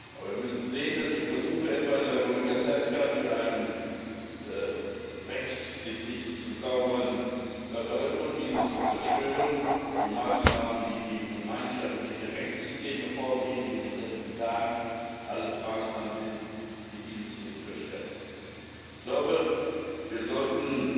Aber wir müssen sehen, dass die Versuche etwa in der Republika Srpska mit einem rechtlich nicht sauberen Referendum, dieses Land zu zerstören, die Maßnahmen, die gegen gemeinschaftliche Rechtssysteme vorgehen wie in den letzten Tagen, sämtlich Maßnahmen sind, durch die das Land nicht gestärkt wird. Ich glaube, wir sollten